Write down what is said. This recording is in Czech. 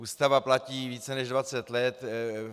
Ústava platí více než 20 let.